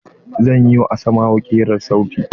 Zan yi wa asmau kirar sauti.